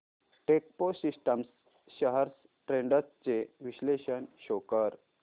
Techpro systems shares trends चे विश्लेषण show कर